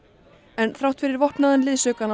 en þrátt fyrir vopnaðan liðsaukann á